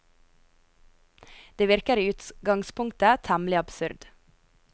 Det virker i utgangspunktet temmelig absurd.